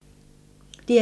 DR1